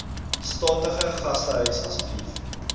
statige gastehuis asseblief